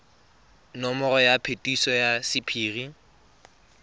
nomoro ya phetiso ya sephiri